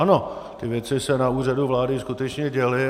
Ono ty věci se na Úřadu vlády skutečně děly.